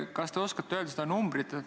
Kas te oskate öelda seda numbrit?